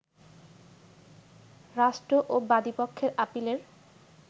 রাষ্ট্র ও বাদীপক্ষের আপিলের